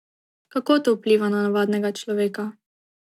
Kako to vpliva na navadnega človeka?